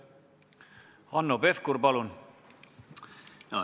Hanno Pevkur, palun!